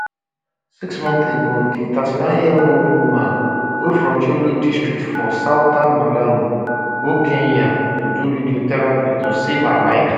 six months ago di 39 years old woman wey from thyolo district for southern malawi go kenya to do radiotherapy to save her life